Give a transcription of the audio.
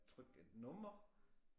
Trykke et nummer